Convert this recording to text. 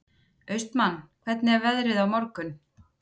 Austmann, hvernig er veðrið á morgun?